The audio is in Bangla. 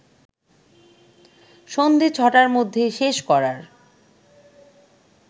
সন্ধ্যে ছটার মধ্যে শেষ করার